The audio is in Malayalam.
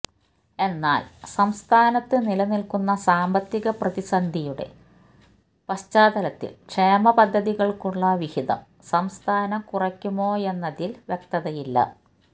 എന്നാല് സംസ്ഥാനത്ത് നിലനില്ക്കുന്ന സാമ്പത്തിക പ്രതിസന്ധിയുടെ പശ്ചാത്തലത്തില് ക്ഷേമപദ്ധതികള്ക്കുള്ള വിഹിതം സംസ്ഥാനം കുറക്കുമോയെന്നതില് വ്യക്തതയില്ല